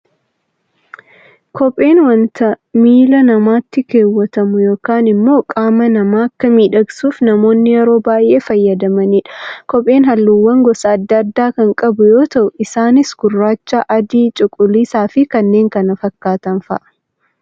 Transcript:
Kopheen waanta miila namaatti keewwatamu yookaan immoo qaama namaa akka miidhagsuuf namoonni yeroo baayyee fayyadamanidha. Kopheen halluuwwan gosa addaa addaa kan qabu yoo ta'u, isaanis gurraacha, adii cuquliisa fi kanneen kana fakkaatan fa'aa.